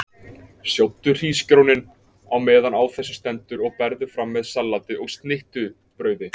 Sjóddu hrísgrjónin á meðan á þessu stendur og berðu fram með salati og snittubrauði.